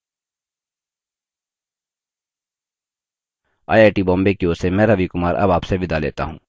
I I T Bombay की ओर से मैं रवि कुमार अब आप से विदा लेता हूँ